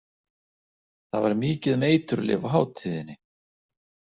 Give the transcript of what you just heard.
Það var mikið um eiturlyf á hátíðinni.